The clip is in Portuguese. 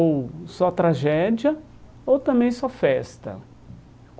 Ou só tragédia, ou também só festa.